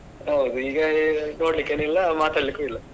ಹೌದು ಈಗ ನೋಡ್ಲಿಕೇನು ಇಲ್ಲ ಮಾತಾಡ್ಲಿಕ್ಕು ಇಲ್ಲ.